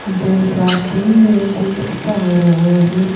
जैसा कि मैं देख पा रहा हूं।